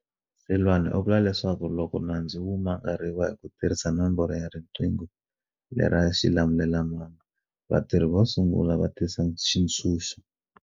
Seloane u vula leswaku loko nandzu wu mangariwa hi ku tirhisa nomboro ya riqingho lera xilamulelamhangu, vatirhi vo sungula vo tisa switshunxo